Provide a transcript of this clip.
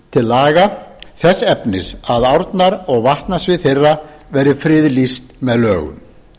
til laga þess efnis að árnar og vatnasvið þeirra verði friðlýst með lögum